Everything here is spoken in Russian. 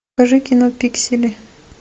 покажи кино пиксели